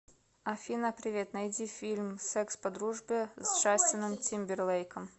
афина привет найди фильм секс по дружбе с джастином тимберлейком